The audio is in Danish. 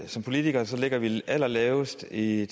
som politikere ligger vi allerlavest i i